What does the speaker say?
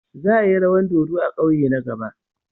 Za a yi rawan dodo a kauye na gaba.